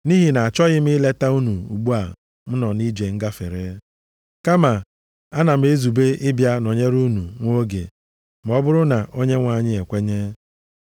Nʼihi na-achọghị m ileta unu ugbu a m nọ nʼije ngafere. Kama ana m ezube ịbịa nọnyere unu nwa oge, ma ọ bụrụ na Onyenwe anyị e kwenye.